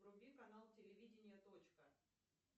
вруби канал телевидение точка